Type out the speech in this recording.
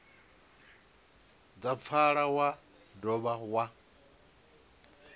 dza pfala wa dovha wa